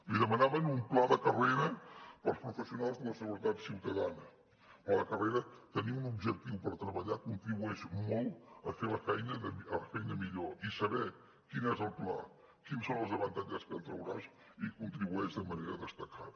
li demanaven un pla de carrera per als professionals de la seguretat ciutadana però a la carrera tenir un objectiu per treballar contribueix molt a fer la feina millor i saber quin és el pla quins són els avantatges que en trauràs hi contribueix de manera destacada